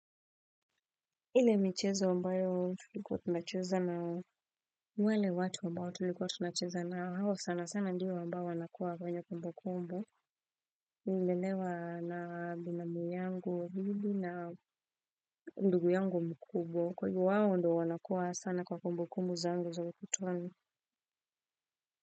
Ile michezo ambayo tulikuwa tunacheza na wale watu ambao tulikuwa tunacheza nao hao sana sana ndio ambao wanakuwa kwenye kumbu kumbu. Nililelewa na binamu yangu, mimi na ndugu yangu mkubwa. Kwahivyo wao ndo wanakuwa sana kwa kumbu kumbu zangu za utotoni.